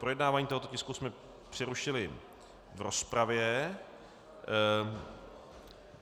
Projednávání tohoto tisku jsme přerušili v rozpravě.